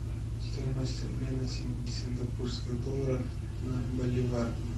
стоимость обмена сингапурских долларов на боливар